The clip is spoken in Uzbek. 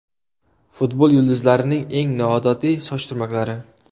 Futbol yulduzlarining eng noodatiy soch turmaklari .